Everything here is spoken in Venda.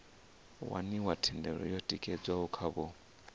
waniwa thendelo yo tikedzwaho khavho